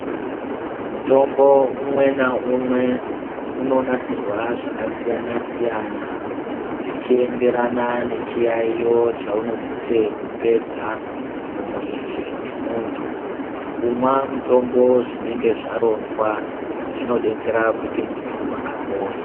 Mutombo umwe naumwe inonasirwa zvakasiyana siyana Zvichienderana nechiyaiyo chaunosisa kupedza mumwiri memuntu kumwa mutombo zvinenge zvaronzwa Zvinodetsera kuti muntu apore.